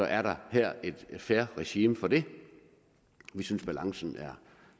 er her et fair regime for det vi synes at balancen er